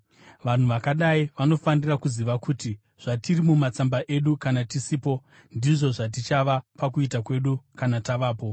Vanhu vakadai vanofanira kuziva kuti zvatiri mumatsamba edu kana tisipo, ndizvo zvatichava pakuita kwedu kana tavapo.